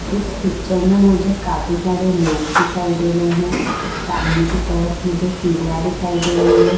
इस पिक्चर में मुझे काफी सारे लोग दिखाई दे रहे हैं। सामने की तरफ मुझे सीढ़ियां दिखाई दे रही हैं।